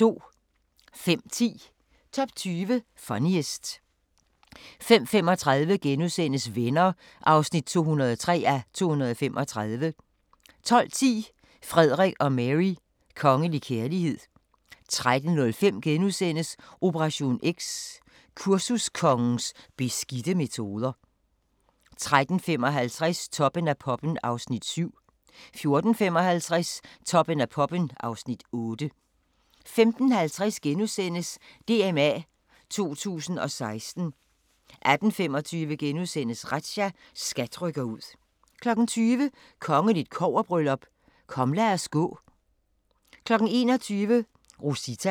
05:10: Top 20 Funniest 05:35: Venner (203:235)* 12:10: Frederik og Mary: Kongelig kærlighed 13:05: Operation X – kursuskongens beskidte metoder * 13:55: Toppen af poppen (Afs. 7) 14:55: Toppen af poppen (Afs. 8) 15:50: DMA 2016 * 18:25: Razzia – SKAT rykker ud * 20:00: Kongeligt kobberbryllup: Kom lad os gå... 21:00: Rosita